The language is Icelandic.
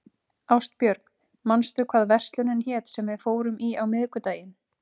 Ástbjörg, manstu hvað verslunin hét sem við fórum í á miðvikudaginn?